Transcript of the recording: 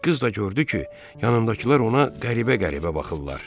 Qız da gördü ki, yanındakılar ona qəribə-qəribə baxırlar.